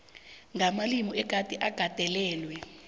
namalimi egade agandelelwe